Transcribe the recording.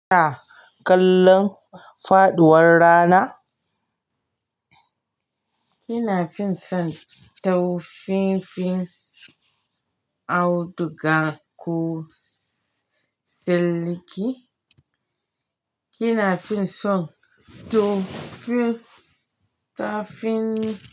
Ah, ƙallon faɗuwar rana, kina fin son taufinfin auduga ko silki, kina fin son taufi tafin.